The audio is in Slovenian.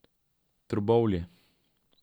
Trbovlje.